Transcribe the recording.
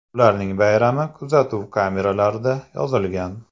Ularning bayrami kuzatuv kameralarida yozilgan.